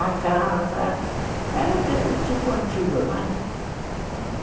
A casa era aquele tipo antigo, não é?